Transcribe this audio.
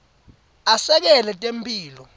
asekela temphilo